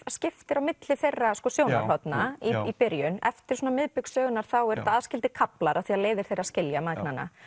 skiptir á milli þeirra sjónarhorna í byrjun eftir miðbik sögunnar eru þetta aðskildir kaflar af því að leiðir þeirra skilja mæðgnanna